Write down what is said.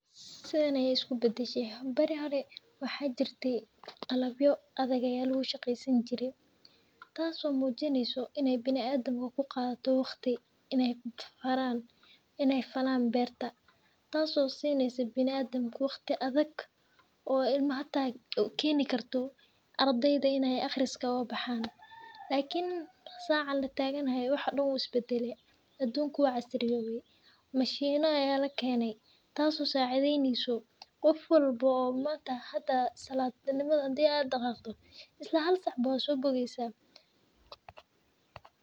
Sithan ayey isku badashe bari hore maxaa jire qalabyo adhegyal ee shaqesan jire tas oo mujneysa in ee bilaadanka waqti ku qadato in ee falan beerta tas oo sineysa bilaadanka waqti adhag oo ilmaha hata ukeni karto ardeyda in ee aqriska oga baxan lakin saca lataganahay waxa dan wu isbadale adunka waa casriyowey mashima aya lakene qof walbo oo hadaa isla salad nimada daqaqo hada aya sobogeysa.